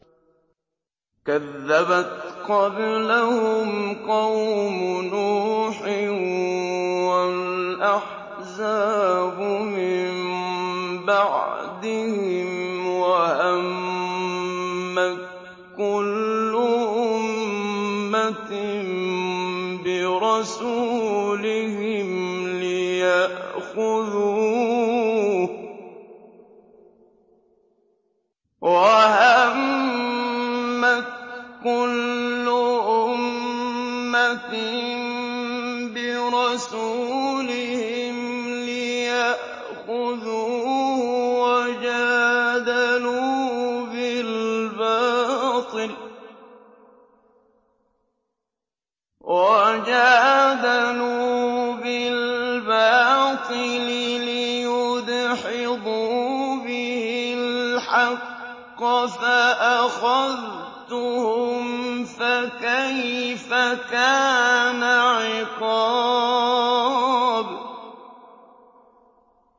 كَذَّبَتْ قَبْلَهُمْ قَوْمُ نُوحٍ وَالْأَحْزَابُ مِن بَعْدِهِمْ ۖ وَهَمَّتْ كُلُّ أُمَّةٍ بِرَسُولِهِمْ لِيَأْخُذُوهُ ۖ وَجَادَلُوا بِالْبَاطِلِ لِيُدْحِضُوا بِهِ الْحَقَّ فَأَخَذْتُهُمْ ۖ فَكَيْفَ كَانَ عِقَابِ